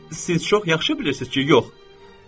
Siz çox yaxşı bilirsiz ki, yox.